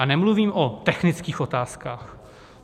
A nemluvím o technických otázkách.